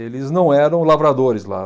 Eles não eram lavradores lá.